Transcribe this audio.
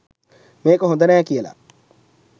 මේක හොඳ නෑ කියල